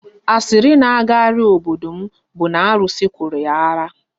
Asịrị na agagharị n'obodo m bụ na arụsị kụrụ ya ara